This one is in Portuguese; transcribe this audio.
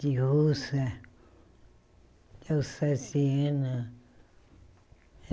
de roça, de alça siena.